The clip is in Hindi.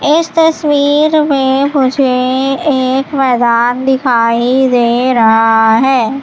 इस तस्वीर मुझे एक मैदान दिखाई दे रहा है।